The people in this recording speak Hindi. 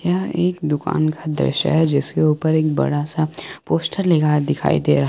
यह एक दुकान का दृश्य है जिसके ऊपर एक बड़ा सा पोस्टर लगा दिखाई दे रहा--